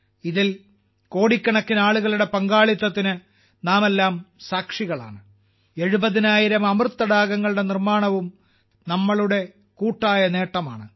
ഇതിൽ കോടിക്കണക്കിന് ജനങ്ങളുടെ പങ്കാളിത്തത്തിന് നാമെല്ലാം സാക്ഷികളാണ് 70000 അമൃത് തടാകങ്ങളുടെ നിർമ്മാണവും നമ്മളുടെ കൂട്ടായ നേട്ടമാണ്